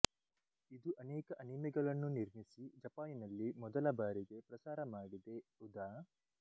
ಇದು ಅನೇಕ ಅನಿಮೆಗಳನ್ನು ನಿರ್ಮಿಸಿ ಜಪಾನಿನಲ್ಲಿ ಮೊದಲ ಬಾರಿಗೆ ಪ್ರಸಾರ ಮಾಡಿದೆ ಉದಾ